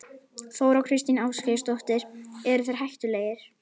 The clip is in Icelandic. Þóra Kristín Ásgeirsdóttir: Eru þeir hættulegir?